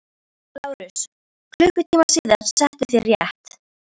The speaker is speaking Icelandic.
LÁRUS: Klukkutíma síðar settuð þér rétt.